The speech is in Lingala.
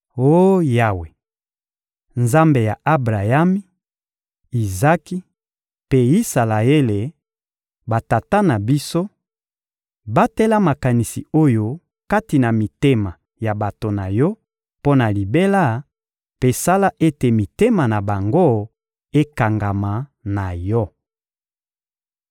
Oh Yawe, Nzambe ya Abrayami, Izaki mpe Isalaele, batata na biso, batela makanisi oyo kati na mitema ya bato na Yo mpo na libela mpe sala ete mitema na bango ekangama na Yo.